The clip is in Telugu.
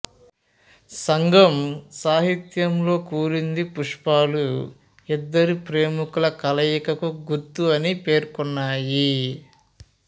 సంగం సాహిత్యంలో కురింజి పుష్పాలు ఇద్దరు ప్రేమికుల కలయికకు గుర్తు అని పేర్కొన్నాయి